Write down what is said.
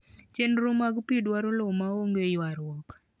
chenro mag pi dwaro lowo ma onge ywarruok.